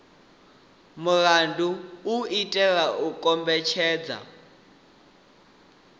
mulandu u itela u kombetshedza